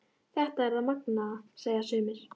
Þetta er það magnaða, segja sumir.